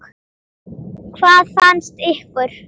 Hvað fannst ykkur?